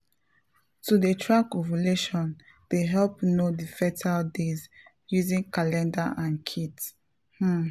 to dey track ovulation dey help know the fertile days using calendar and kits um